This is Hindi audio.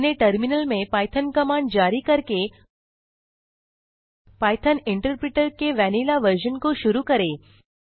अपने टर्मिनल में पाइथॉन कमांड जारी करके पाइथॉन इंटरप्रिटर के वैनिला वर्जन को शुरू करें